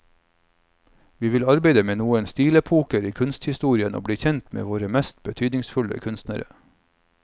Vi vil arbeide med noen stilepoker i kunsthistorien og bli kjent med våre mest betydningsfulle kunstnere.